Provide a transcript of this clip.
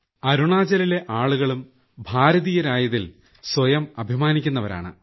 അരുണാചലിലെ ആളുകളും ഭാരതീയരായതിൽ സ്വയം അഭിമാനിക്കുന്നവരാണ്